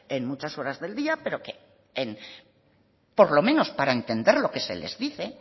en muchas horas del día pero por lo menos para entender lo que se les dice